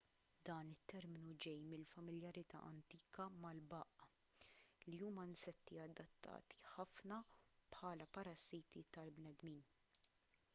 dan it-terminu ġej mill-familjarità antika mal-baqq li huma insetti adatti ħafna bħala parassiti tal-bnedmin